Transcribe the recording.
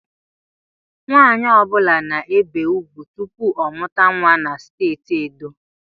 Nwanyi ọbula na-ebe ugwu tụpụ ọ mụta nwa na steeti Edo